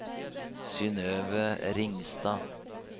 Synnøve Ringstad